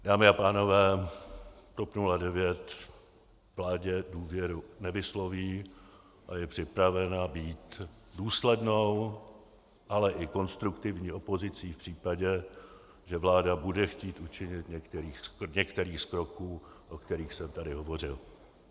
Dámy a pánové, TOP 09 vládě důvěru nevysloví a je připravena být důslednou, ale i konstruktivní opozicí v případě, že vláda bude chtít učinit některý z kroků, o kterých jsem tady hovořil.